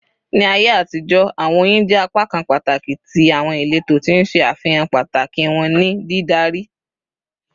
Ni Aiye atijọ, awọn oyin jẹ apakan pataki ti awọn ileto, ti n ṣe afihan pataki wọn ni didari